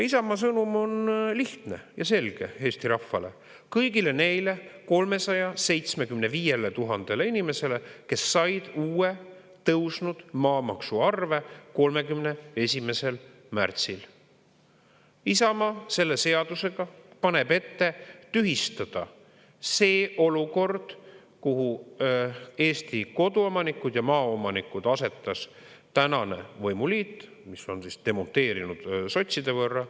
Isamaa sõnum on lihtne ja selge eesti rahvale, kõigile neile 375 000-le inimesele, kes said uue tõusnud maamaksuarve 31. märtsil: Isamaa selle seadusega paneb ette tühistada see olukord, kuhu Eesti koduomanikud ja maaomanikud asetas tänane võimuliit, mis on demonteerunud sotside võrra.